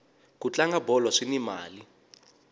ku tlanga bolo swini mali